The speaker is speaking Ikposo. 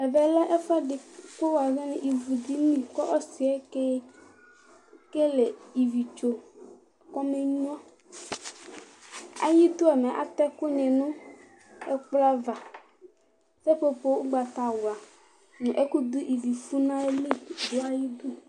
Ɛvɛ lɛ ɛfʋɛdɩ kʋ wʋazɔ n'ivudini ,k'ɔsɩɛ kekele ividzo k'amenyuǝ Ayidu mɛ ,atɛ ɛkʋ nɩ n'ɛkplọ ava Sepopo ʋgbatawla nʋ ɛkʋdʋ ivifʋ n'ayili dʋ ayidu